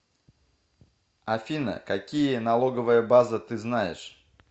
афина какие налоговая база ты знаешь